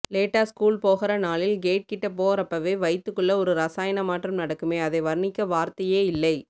லேட்டா ஸ்கூல் போகற நாளில் கேட் கிட்ட போறப்பவே வயித்துக்குள்ள ஒரு ரசாயன மாற்றம் நடக்குமே அதை வர்ணிக்க வார்த்தையேயில்லை